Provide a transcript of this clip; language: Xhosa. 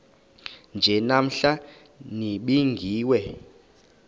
nje namhla nibingiwe